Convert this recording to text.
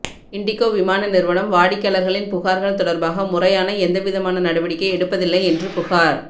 indigo விமான நிறுவனம் வாடிக்கையாளர்களின் புகார்கள் தொடர்பாக முறையான எந்தவிதமான நடவடிக்கை எடுப்பதில்லை என்று புகார்